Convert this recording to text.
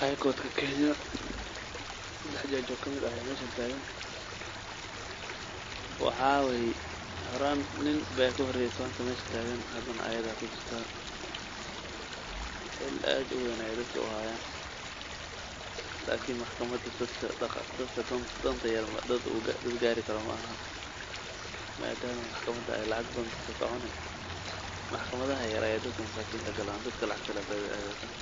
high korka kenya dad katirsan aya halakan tagan waxa waye nin aya kahore islant meesha tagan oo xiil ad uwen ayey heysan lakin maxkamada meel dadka danta yar ey gari karan maaha oo mmaxkamada aya lacagta kacunu kuwa yaryar ayey badana dadka aadan.